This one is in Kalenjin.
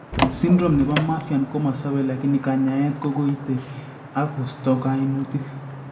Syndrome nebo marfan komasobe lakini kanyaeet kokooite ak kosto kaimutik